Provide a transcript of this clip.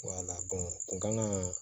kun kan ka